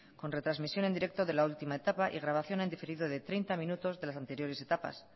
con retrasmisión en directo de la última etapa y grabación en diferido de treinta minutos de las anteriores etapas